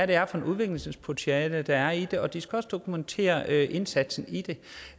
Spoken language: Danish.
det er for et udviklingspotentiale der er i det og de skal også dokumentere indsatsen i det